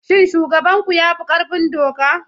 Shin shugaban ku ya fi ƙarfin doka?